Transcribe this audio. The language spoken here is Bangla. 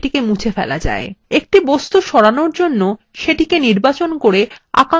একটি বস্তু সরানোর জন্য সেটি নির্বাচন করে আকাঙ্ক্ষিত অবস্থানএ টেনে আনুন